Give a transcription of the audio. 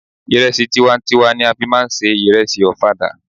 Ìrẹsì tiwa n tiwa ni a fí máà ń se ìrẹsì ọ̀fadà.